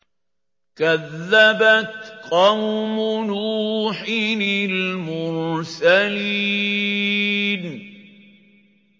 كَذَّبَتْ قَوْمُ نُوحٍ الْمُرْسَلِينَ